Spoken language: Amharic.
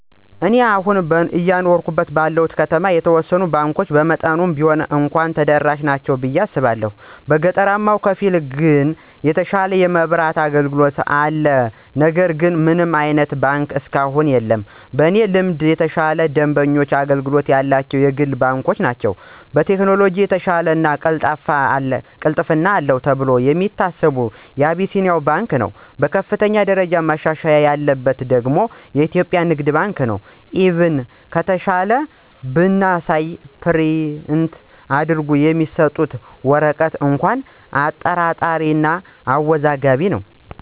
እኔ አሁን አየኖርሁ ባለሁበት ከተማ የተወሰኑት ባንኮች በመጠኑም ቢሆን እንኳ ተደራሽ ናቸው ብየ አስባለሁ። በገጠራማው ክፍል ግን የተሻለ የማብራት አገልግሎት አለ ነገር ግን ምንም አይነት ባንክ እስካሁን የለም። በእኔ ልምድ የተሻለ የደንበኞች አገልግሎት ያላቸው የግል ባንኮች ናቸው። በቴክኖሎጅ የተሻለው እና ቅልጥፍና አለው ተብሎ የሚታሰበው አቢሲንያ ባንክ ነው። በከፍተኛ ደረጃ መሻሻል ያለበት ደግሞ ኢትዮጵያ ንግድ ባንክ ነው፤ ኢቭን ከትንሿ ብንነሳ ፕሪንት አድርገው የሚሰጡት ወረቀት እንኳ አጠራጣሪ እና አወዛጋቢ ነው።